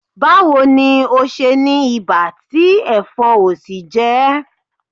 Báwo ni ò ṣe ní ibà tí ẹ̀fọn ò sì jẹ ẹ́?